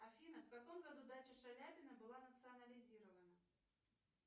афина в каком году дача шаляпина была национализирована